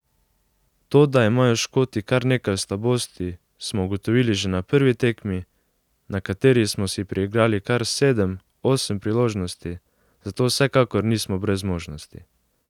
To, da imajo Škoti kar nekaj slabosti, smo ugotovili že na prvi tekmi, na kateri smo si priigrali kar sedem, osem priložnosti, zato vsekakor nismo brez možnosti.